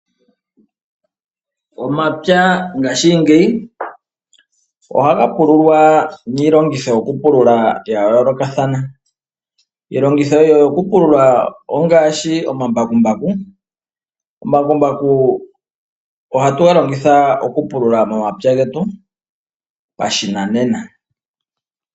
Omapya ngaashingeyi ohaga pululwa niilongitho yoku pulula ya yoolokathana. Iilongitho yoku pulula ongaashi omambakumbaku, omambakumbaku ohatuga longitha okupulula momapya getu pashinanena.